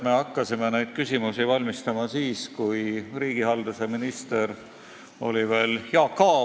Me hakkasime neid küsimusi ette valmistama siis, kui riigihalduse minister oli veel Jaak Aab.